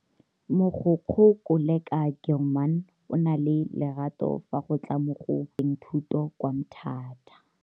Mogokgo Koleka Gilman o na le lerato fa go tla mo go tokafatseng thuto kwa Mthatha.